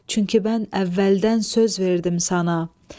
Çünki bən əvvəldən söz verdim sana.